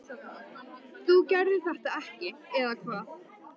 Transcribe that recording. þú gerðir þetta ekki, eða hvað?